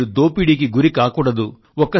మీరు దోపిడీకి గురి కాకూడదు